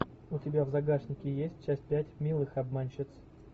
у тебя в загашнике есть часть пять милых обманщиц